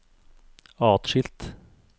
atskilt